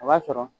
O b'a sɔrɔ